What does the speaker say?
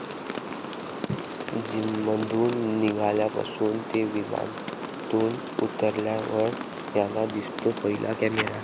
जिममधून निघाल्यापासून ते विमानातून उतरल्यावर यांना दिसतो पहिला कॅमेरा